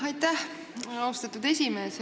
Aitäh, austatud esimees!